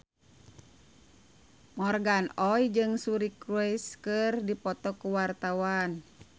Morgan Oey jeung Suri Cruise keur dipoto ku wartawan